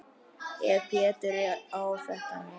Ef Pétur á þetta nú.